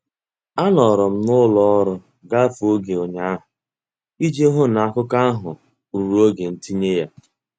Anọrọ m n'ụlọ ọrụ gafee oge ụnyaahụ iji hụ na akụkọ ahụ ruru oge ntinye ya.